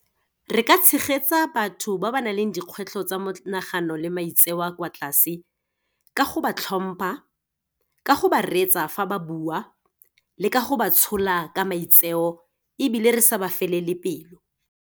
Re ka tshegetsa batho ba ba nang le dikgwetlho tsa monagano le maitseo a a kwa tlase, ka go ba hlompha, ka go ba retsa fa ba buwa le ka go ba tshola ka maitseo, ebile re sa ba felele pelo.